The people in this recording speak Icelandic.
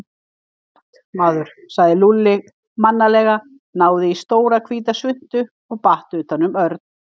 Flott, maður sagði Lúlli mannalega, náði í stóra, hvíta svuntu og batt utan um Örn.